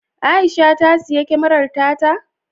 Aisha ta siyi kyamarar ta ta?